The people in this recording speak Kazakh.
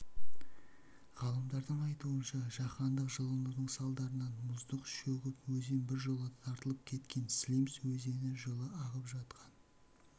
ғалымдардың айтуынша жаһандық жылынудың салдарынан мұздық шөгіп өзен біржола тартылып кеткен слимс өзені жылы ағып жатқан